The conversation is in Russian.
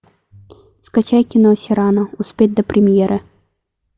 скачай кино сирано успеть до премьеры